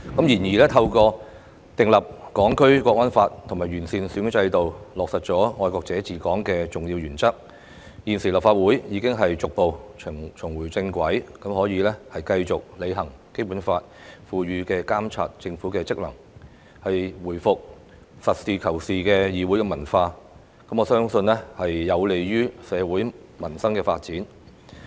然而，透過訂立《香港國安法》及完善選舉制度，落實愛國者治港的重要原則，立法會現已逐步重回正軌，可繼續履行《基本法》賦予的監察政府職能，回復實事求是的議會文化，我相信這將有利於社會民生發展。